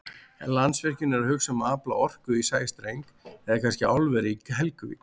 En Landsvirkjun að hugsa um að afla orku í sæstreng eða kannski álveri í Helguvík?